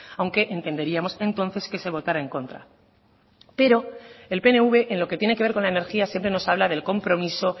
aunque entenderíamos entonces que se votará en contra pero el pnv en lo que tiene que ver con la energía siempre nos habla del compromiso